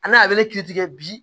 A n'a bɛ ne kiiri tigɛ bi